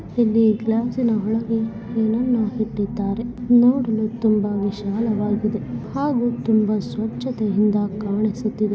ಇಲ್ಲಿ ನಾವು ಏನು ನೋಡ್ತಾ ಇದ್ದೀರಿ ಅಂದ್ರೆ ಇಲ್ಲಿ ಹುಡುಗ ನೀರು ಕಡೆ ಎಲ್ಲಾ ಬ್ರಿಡ್ಜ್ ಮೇಲೆ ನಿಂತುಕೊಂಡು ಅಲ್ಲಿ ಫೋಟೋಸ್ ಹೇಳ್ತೀರೋದು ಅಂತ ನೋಡಬಹುದು